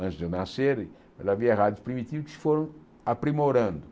antes de eu nascer e, já havia rádios primitivos que foram aprimorando.